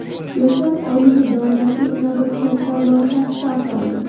Yoshlar oyligi doirasida yana bir katta loyiha start oldi.